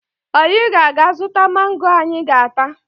Anyị ga-aga zụta mango anyị ga-ata